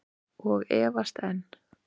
Og efast enn.